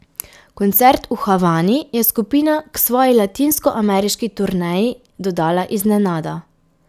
Koncert v Havani je skupina k svoji latinskoameriški turneji dodala iznenada.